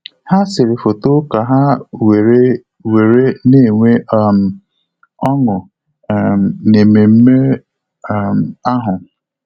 Há sèrè fóto kà há wéré wéré nà-ènwé um ọ́ṅụ́ um n’ememe um ahụ.